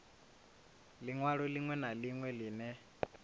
linwalo linwe na linwe line